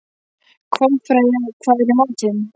Kolfreyja, hvað er í matinn?